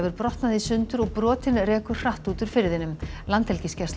brotnað í sundur og brotin rekur hratt út úr firðinum